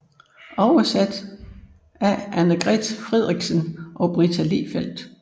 Oversat af Annegret Friedrichsen og Britta Lehfeldt